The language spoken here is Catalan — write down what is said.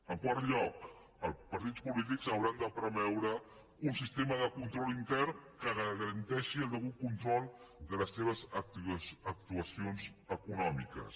en quart lloc els partits polítics hauran de preveure un sistema de control intern que garanteixi el degut control de les seves actuacions econòmiques